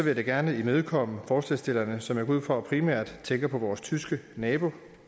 jeg da gerne imødekomme forslagsstillerne som jeg går ud fra primært tænker på vores tyske nabo